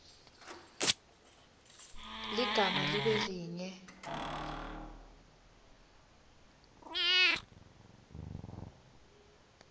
ligama libe linye